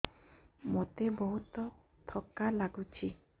ମୋତେ ବହୁତ୍ ଥକା ଲାଗୁଛି